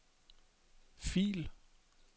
fil